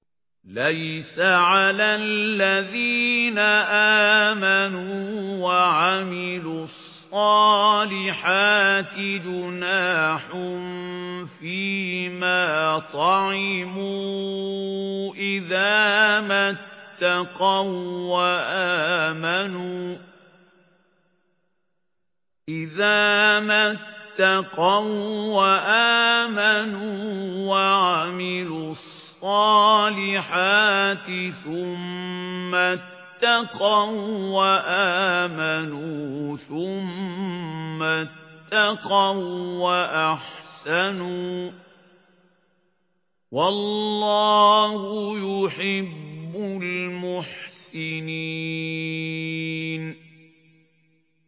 لَيْسَ عَلَى الَّذِينَ آمَنُوا وَعَمِلُوا الصَّالِحَاتِ جُنَاحٌ فِيمَا طَعِمُوا إِذَا مَا اتَّقَوا وَّآمَنُوا وَعَمِلُوا الصَّالِحَاتِ ثُمَّ اتَّقَوا وَّآمَنُوا ثُمَّ اتَّقَوا وَّأَحْسَنُوا ۗ وَاللَّهُ يُحِبُّ الْمُحْسِنِينَ